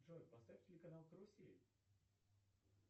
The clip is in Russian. джой поставь телеканал карусель